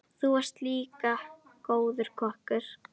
Þú varst líka góður kokkur.